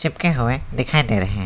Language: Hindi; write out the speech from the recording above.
हुए दिखाई दे रहे हैं।